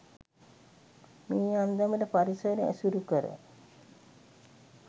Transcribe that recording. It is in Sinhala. මේ අන්දමට පරිසරය ඇසුරු කර